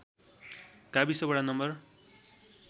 गाविस वडा नं